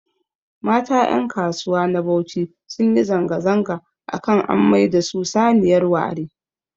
Mata ƴankasuwa na Bauchi sunyi zanga-zanga akan an maida su saniyar ware